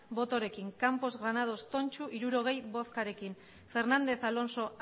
botorekin campos granados tontxu hirurogei botorekin fernández alonso